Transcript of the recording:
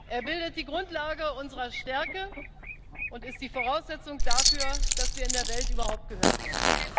Er bildet die Grundlage unserer Stärke und ist die Voraussetzung dafür, dass wir in der Welt überhaupt gehört werden.